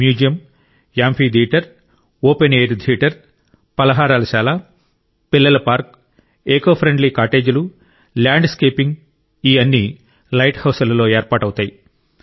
museum amphitheatre open air theatre ఫలహారశాల పిల్లల park eco friendly కాటేజీలు ల్యాండ్ స్కేపింగ్ ఈ అన్ని లైట్ హౌజులలో ఏర్పాటవుతాయి